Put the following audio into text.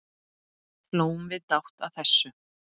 Hlógum við dátt að þessu.